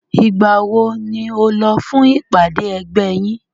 Ìgbà wo ni o lọ fún ìpàdé ẹgbẹ́ yín?